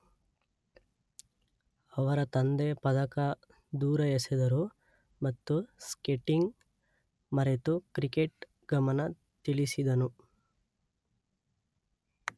ಅವರ ತಂದೆ ಪದಕ ದೂರ ಎಸೆದರು ಮತ್ತು ಸ್ಕೇಟಿಂಗ್ ಮರೆತು ಕ್ರಿಕೆಟ್ ಗಮನ ತಿಳಿಸಿದನು.